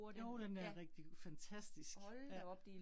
Jo, den er rigtig fantastisk. Ja